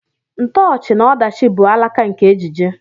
Ntoochi na ọdachi bụ alaka nke ejije.